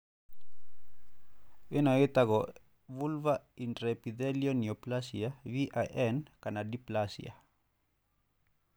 Ino yĩtagwo Vulvar intraepithelial neoplasia(VIN) kana dyplasia.